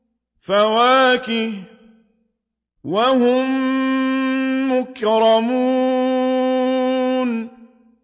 فَوَاكِهُ ۖ وَهُم مُّكْرَمُونَ